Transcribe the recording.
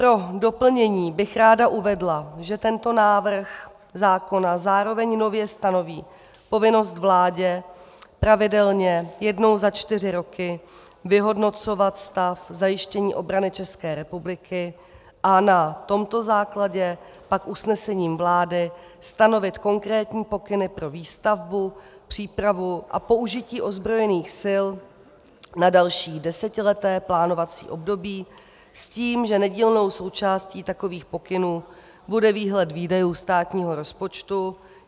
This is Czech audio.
Pro doplnění bych ráda uvedla, že tento návrh zákona zároveň nově stanoví povinnost vládě pravidelně jednou za čtyři roky vyhodnocovat stav zajištění obrany České republiky a na tomto základě pak usnesením vlády stanovit konkrétní pokyny pro výstavbu, přípravu a použití ozbrojených sil na další desetileté plánovací období s tím, že nedílnou součástí takových pokynů bude výhled výdajů státního rozpočtu.